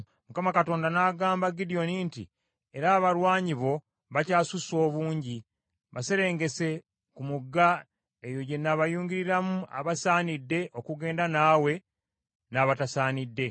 Mukama Katonda n’agamba Gidyoni nti, “Era abalwanyi bo bakyasusse obungi, baserengese ku mugga, eyo gye naabayunguliramu abasaanidde okugenda naawe n’abatasaanidde.”